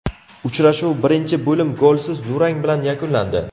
Uchrashuv birinchi bo‘lim golsiz durang bilan yakunlandi.